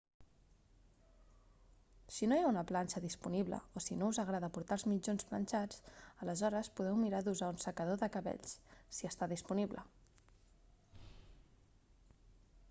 si no hi ha una planxa disponible o si no us agrada portar els mitjons planxats aleshores podeu mirar d'usar un secador de cabells si està disponible